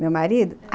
Meu marido?